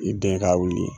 I den ka wuli